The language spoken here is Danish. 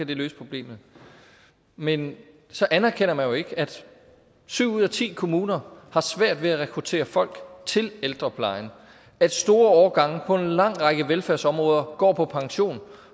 det løse problemet men så anerkender man jo ikke at syv ud af ti kommuner har svært ved at rekruttere folk til ældreplejen at store årgange på en lang række velfærdsområder går på pension